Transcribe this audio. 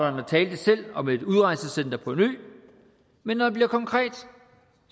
selv om et udrejsecenter på en ø men når det bliver konkret